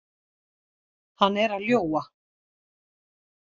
Hann er að ljúga.